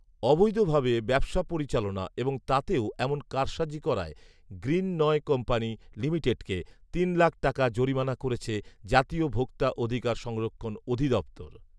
অবৈধভাবে ব্যবসা পরিচালনা এবং তাতেও এমন কারসাজি করায় গ্রীণ নয় কোম্পানি লিমিটেডকে তিন লাখ টাকা জরিমানা করেছে জাতীয় ভোক্তা অধিকার সংরক্ষণ অধিদফতর